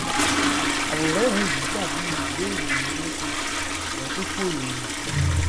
aworẹrin yìí dàbí i ìwé ìròhìn olóṣooṣù ṣùgbọn dípò ìròhìn